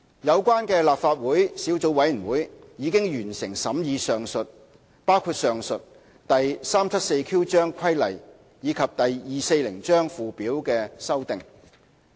有關的立法會小組委員會已完成審議包括上述第 374Q 章規例及第240章附表的修訂。